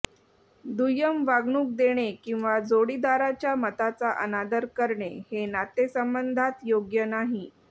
दुय्यम वागणूक देणे किंवा जोडीदाराच्या मताचा अनादर करणे हे नातेसंबंधांत योग्य नाही